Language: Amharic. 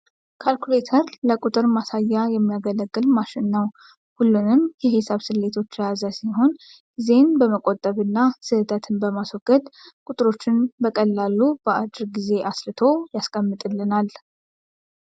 ካልኩሌተር ለቁጥር ማስያ የሚያገለግል ማሽን ነው። ሁሉንም የሂሳብ ስሌቶች የያዘ ሲሆን ጊዜን በመቆጠብ እና ስህተትን በማስወገድ ቁጥሮችን በቀላሉ በአጭር ጊዜ አስልቶ ያስቀምጥልናል።